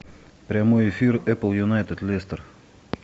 прямой эфир апл юнайтед лестер